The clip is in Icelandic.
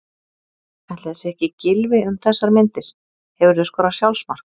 Ætli það sé ekki Gylfi um þessar myndir Hefurðu skorað sjálfsmark?